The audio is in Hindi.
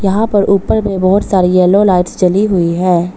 यहां पर ऊपर में बहोत सारी येलो लाइट जली हुई है।